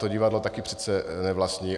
To divadlo také přece nevlastní.